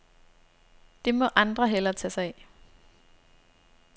Det må andre hellere tage sig af.